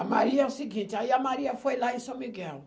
A Maria é o seguinte, aí a Maria foi lá em São Miguel.